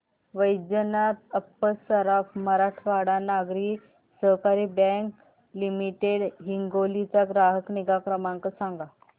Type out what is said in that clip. वैजनाथ अप्पा सराफ मराठवाडा नागरी सहकारी bank limited Hingoli चा ग्राहक निगा क्रमांक सांगा